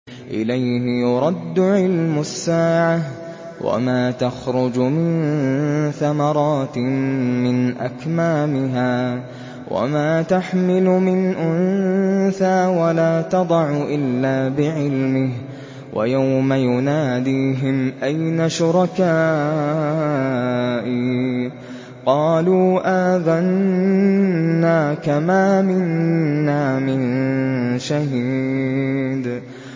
۞ إِلَيْهِ يُرَدُّ عِلْمُ السَّاعَةِ ۚ وَمَا تَخْرُجُ مِن ثَمَرَاتٍ مِّنْ أَكْمَامِهَا وَمَا تَحْمِلُ مِنْ أُنثَىٰ وَلَا تَضَعُ إِلَّا بِعِلْمِهِ ۚ وَيَوْمَ يُنَادِيهِمْ أَيْنَ شُرَكَائِي قَالُوا آذَنَّاكَ مَا مِنَّا مِن شَهِيدٍ